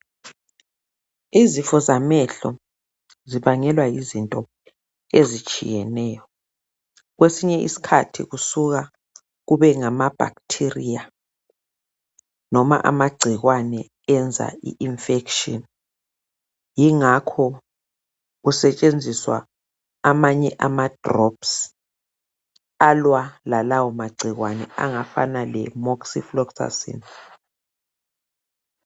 Izifo zamehlo zibangelwa yizinto ezitshiyeneyo, kwesinye iskhathi kusuka kube ngamabacteria noma amagcikwane enza iinfection yingakho kusetshenziswa amanye amadrops alwa lalawomagcikwane angafana leMoxifloxacin.